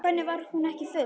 Hvernig var hún ekki full?